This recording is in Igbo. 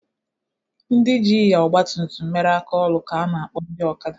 Ndị jị ịnya ọgba tutum mere aka ọlụ ka a na akpọ ndị ọkada.